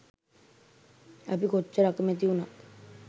අපි කොච්චර අකමැති වුණත්